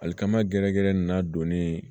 Alikama gɛrɛ gɛrɛ in n'a donnen